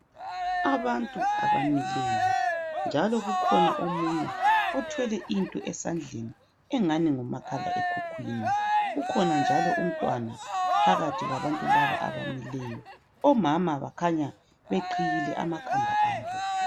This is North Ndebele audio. Abantu abamileyo njalo kukhona omunye othwele into esandleni engani ngumakhala ekhukhwini .Kukhona njalo umntwana phakathi kwabantu laba abamileyo. Omama bakhanya beqhiyile amakhanda abo